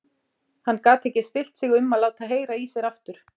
Hann gat ekki stillt sig um að láta heyra í sér aftur.